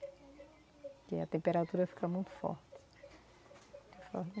Porque a temperatura fica muito forte.